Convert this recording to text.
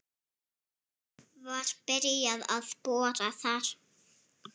Var byrjað að bora þar